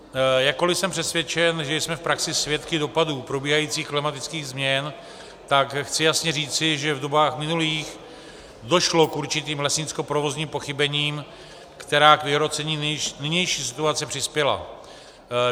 Jakkoli jsem přesvědčen, že jsme v praxi svědky dopadů probíhajících klimatických změn, tak chci jasně říci, že v dobách minulých došlo k určitým lesnickoprovozním pochybením, která k vyhrocení nynější situace přispěla.